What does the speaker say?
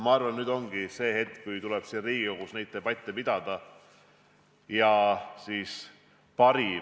Ma arvan, et nüüd ongi käes see hetk, kui tuleb Riigikogus debatte pidada ja parim lahendus leida.